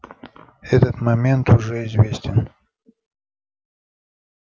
этот момент уже известен